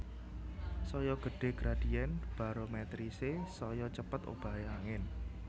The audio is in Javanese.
Saya gedhé gradién barometrisé saya cepet obahé angin